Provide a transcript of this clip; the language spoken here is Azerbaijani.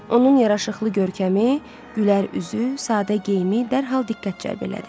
Onun yaraşıqlı görkəmi, gülər üzü, sadə geyimi dərhal diqqət cəlb elədi.